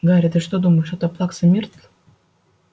гарри ты что думаешь это плакса миртл